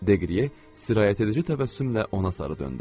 Deqriye sirayət edici təbəssümlə ona sarı döndü.